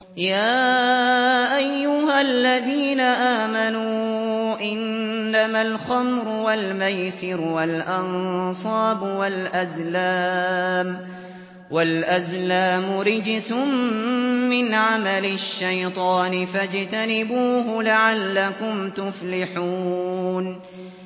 يَا أَيُّهَا الَّذِينَ آمَنُوا إِنَّمَا الْخَمْرُ وَالْمَيْسِرُ وَالْأَنصَابُ وَالْأَزْلَامُ رِجْسٌ مِّنْ عَمَلِ الشَّيْطَانِ فَاجْتَنِبُوهُ لَعَلَّكُمْ تُفْلِحُونَ